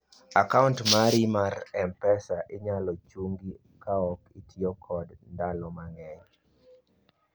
akaunt mari mar mpesa inyalo chungi kaok itiyo kodo ndalo mang'eny